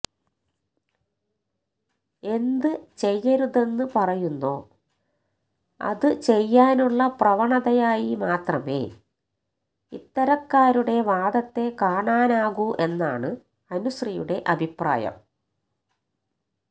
എന്ത് ചെയ്യരുതെന്ന് പറയുന്നോ അത് ചെയ്യാനുള്ള പ്രവണതയായി മാത്രമേ ഇത്തരക്കാരുടെ വാദത്തെ കാണാനാകൂ എന്നാണ് അനുശ്രീയുടെ അഭിപ്രായം